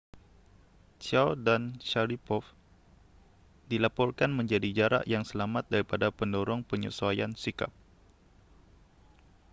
chiao dan sharipov dilaporkan menjadi jarak yang selamat daripada pendorong penyesuaian sikap